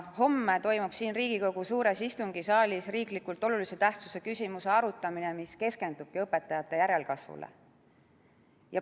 Homme toimub siin Riigikogu suures istungisaalis olulise tähtsusega riikliku küsimuse arutamine, mis keskendubki õpetajate järelkasvule.